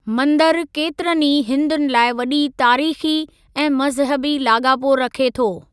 मंदरु केतिरनि ई हिन्दुनि लाइ वॾी तारीख़ी ऐं मज़हबी लाॻापो रखे थो।